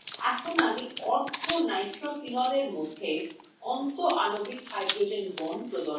এখন আমি orthonitrophenolএ মধ্যে অন্তঃআণৱিক hydrogen বন্ড প্রদর্শন করবো